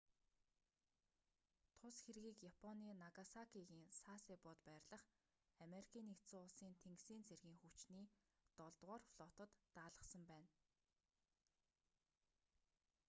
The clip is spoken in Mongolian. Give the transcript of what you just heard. тус хэргийг японы нагасакигийн сасебод байрлах ану-ын тэнгисийн цэргийн хүчний долдугаар флотод даалгасан байна